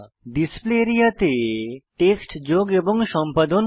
display area তে text যোগ এবং সম্পাদন করা